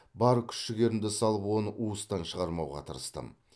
бар күш жігерімді салып оны уыстан шығармауға тырыстым